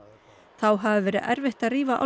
þá hafi verið erfitt að rífa